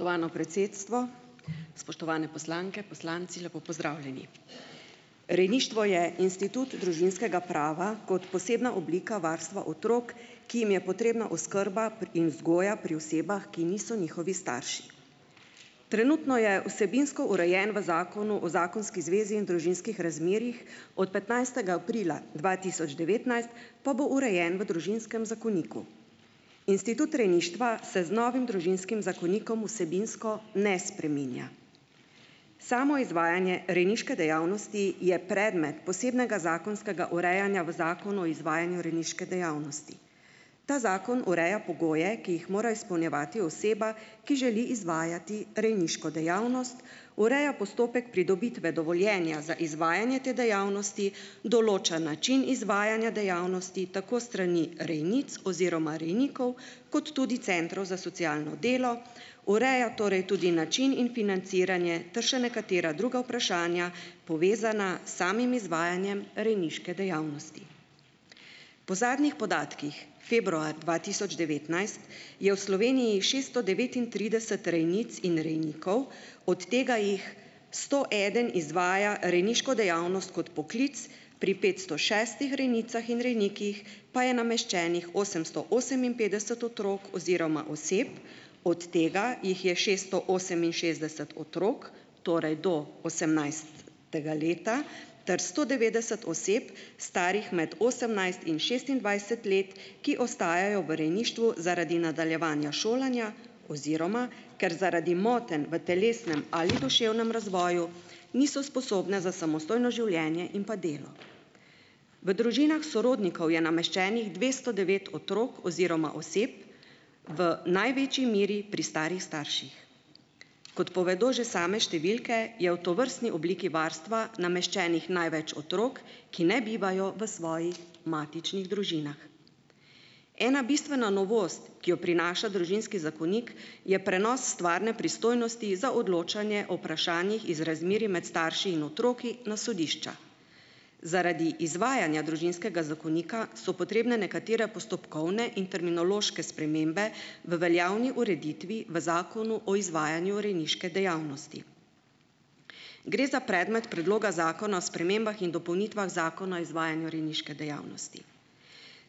Spoštovano predsedstvo, spoštovane poslanke, poslanci, lepo pozdravljeni! Rejništvo je institut družinskega prava kot posebna oblika varstva otrok, ki jim je potrebna oskrba in vzgoja pri osebah, ki niso njihovi starši. Trenutno je vsebinsko urejen v Zakonu o zakonski zvezi in družinskih razmerjih, od petnajstega aprila dva tisoč devetnajst pa bo urejen v Družinskem zakoniku. Institut rejništva se z novim Družinskim zakonikom vsebinsko ne spreminja. Samo izvajanje rejniške dejavnosti je predmet posebnega zakonskega urejanja v Zakonu o izvajanju rejniške dejavnosti. Ta zakon ureja pogoje, ki jih mora izpolnjevati oseba, ki želi izvajati rejniško dejavnost, ureja postopek pridobitve dovoljenja za izvajanje te dejavnosti, določa način izvajanja dejavnosti, tako s strani rejnic oziroma rejnikov, kot tudi centrov za socialno delo. Ureja torej tudi način in financiranje ter še nekatere druga vprašanja, povezana s samim izvajanjem rejniške dejavnosti. Po zadnjih podatkih, februar dva tisoč devetnajst je v Sloveniji šesto devetintrideset rejnic in rejnikov, od tega jih sto eden izvaja rejniško dejavnost kot poklic, pri petsto šestih rejnicah in rejnikih pa je nameščenih osemsto oseminpetdeset otrok, oziroma oseb, od tega jih je šesto oseminšestdeset otrok, torej do osemnajstega leta ter sto devetdeset oseb, starih med osemnajst in šestindvajset let, ki ostajajo v rejništvu zaradi nadaljevanja šolanja, oziroma ker zaradi motenj v telesnem ali duševnem razvoju, niso sposobne za samostojno življenje in pa delo. V družinah sorodnikov je nameščenih dvesto devet otrok oziroma oseb v največji meri pri starih starših. Kot povedo že same številke, je v tovrstni obliki varstva nameščenih največ otrok, ki ne bivajo v svoji matičnih družinah. Ena bistvena novost, ki jo prinaša Družinski zakonik, je prenos stvarne pristojnosti za odločanje o vprašanjih iz razmerij med starši in otroki na sodišča. Zaradi izvajanja Družinskega zakonika so potrebne nekatere postopkovne in terminološke spremembe, v veljavni ureditvi v Zakonu o izvajanju rejniške dejavnosti. Gre za predmet Predloga zakona o spremembah in dopolnitvah Zakona o izvajanju rejniške dejavnosti.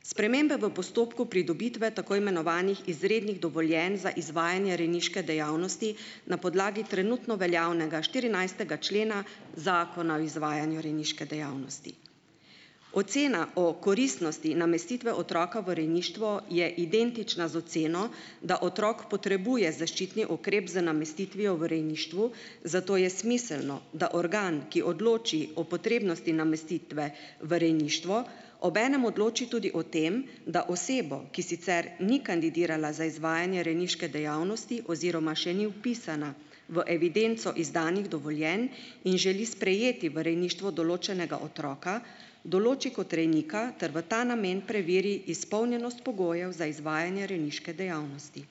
Spremembe v postopku pridobitve, tako imenovanih izrednih dovoljenj za izvajanje rejniške dejavnosti na podlagi trenutno veljavnega štirinajstega člena Zakona o izvajanju rejniške dejavnosti. Ocena o koristnosti namestitve otroka v rejništvo je identična z oceno, da otrok potrebuje zaščitni ukrep za namestitvijo v rejništvu, zato je smiselno, da organ, ki odloči o potrebnosti namestitve v rejništvo, obenem odloči tudi o tem, da osebo, ki sicer ni kandidirala za izvajanje rejniške dejavnosti oziroma še ni vpisana v evidenco izdanih dovoljenj in želi sprejeti v rejništvo določenega otroka, določi kot rejnika ter v ta namen preveri izpolnjenost pogojev za izvajanje rejniške dejavnosti.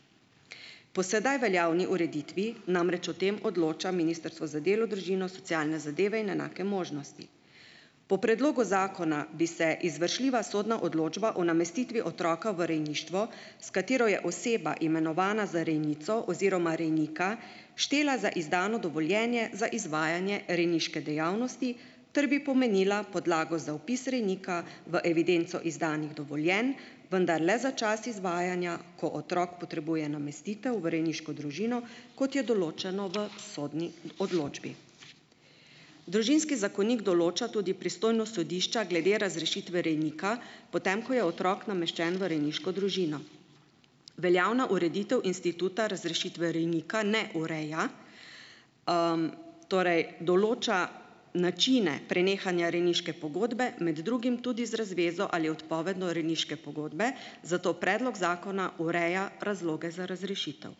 Po sedaj veljavni ureditvi namreč o tem odloča Ministrstvo za delo, družino, socialne zadeve in enake možnosti. Po predlogu zakona bi se izvršljiva sodna odločba o namestitvi otroka v rejništvo, s katero je oseba imenovana za rejnico oziroma rejnika, štela za izdano dovoljenje, za izvajanje rejniške dejavnosti ter bi pomenila podlago za vpis rejnika v evidenco izdanih dovoljenj, vendar le za čas izvajanja, ko otrok potrebuje namestitev v rejniško družino, kot je določeno v sodni odločbi. Družinski zakonik določa tudi pristojnost sodišča glede razrešitve rejnika, po tem, ko je otrok nameščen v rejniško družino. Veljavna ureditev instituta razrešitve rejnika ne ureja, torej, določa načine prenehanja rejniške pogodbe, med drugim tudi z razvezo ali odpovedjo rejniške pogodbe, zato predlog zakona ureja razloge za razrešitev.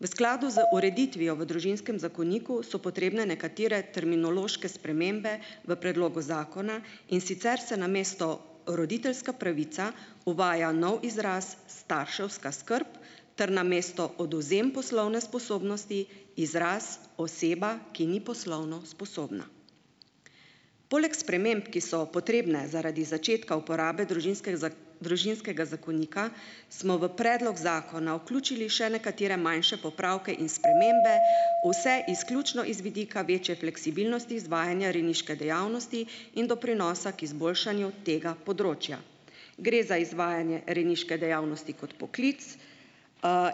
V skladu z ureditvijo v Družinskem zakoniku so potrebne nekatere terminološke spremembe v predlogu zakona, in sicer se namesto roditeljska pravica, uvaja nov izraz starševska skrb, ter namesto odvzem poslovne sposobnosti, izraz oseba, ki ni poslovno sposobna. Poleg sprememb, ki so potrebne zaradi začetka uporabe Družinskega družinskega zakonika smo v predlog zakona vključili še nekatere manjše popravke in spremembe, vse izključno iz vidika večje fleksibilnosti izvajanja rejniške dejavnosti in doprinosa k izboljšanju tega področja. Gre za izvajanje rejniške dejavnosti kot poklic,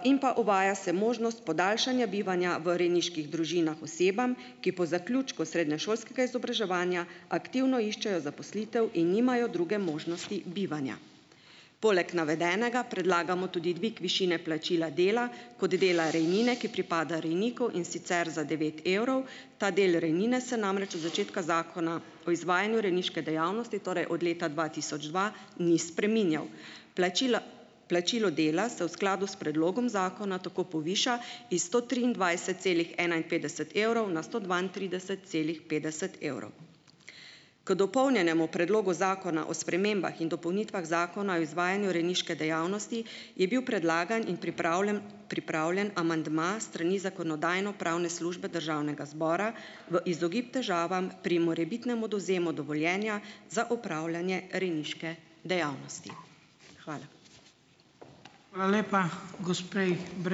in pa uvaja se možnost podaljšanja bivanja v rejniških družinah osebam, ki po zaključku srednješolskega izobraževanja, aktivno iščejo zaposlitev in nimajo druge možnosti bivanja. Poleg navedenega predlagamo tudi dvig višine plačila dela kot dela rejnine, ki pripada rejniku, in sicer za devet evrov. Ta del rejnine se namreč od začetka Zakona o izvajanju rejniške dejavnosti, torej od leta dva tisoč dva, ni spreminjal. Plačilo, plačilo dela se v skladu s predlogom zakona tako poviša iz sto triindvajset celih enainpetdeset evrov, na sto dvaintrideset celih petdeset evrov. K dopolnjenemu Predlogu zakona o spremembah in dopolnitvah Zakona o izvajanju rejniške dejavnosti, je bil predlagan in pripravljen pripravljen amandma s strani Zakonodajno-pravne službe Državnega zbora v izogib težavam pri morebitnemu odvzemu dovoljenja za opravljanje rejniške dejavnosti. Hvala.